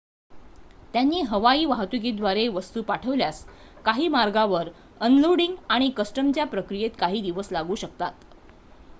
त्यांनी हवाई वाहतुकीद्वारे वस्तू पाठविल्यास काही मार्गांवर अनलोडिंग आणि कस्टमच्या प्रक्रियेत काही दिवस लागू शकतात